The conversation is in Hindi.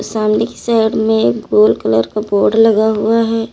सामने की साइड में एक गोल कलर का बोर्ड लगा हुआ है।